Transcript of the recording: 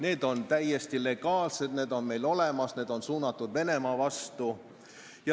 Need on täiesti legaalsed, need on olemas, need on suunatud Venemaa vastu.